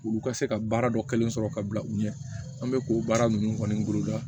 Ulu ka se ka baara dɔ kelen sɔrɔ ka bila u ɲɛ an bɛ k'o baara ninnu kɔni boloda